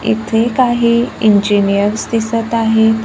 एक आहे इंजिनियर्स दिसत आहे.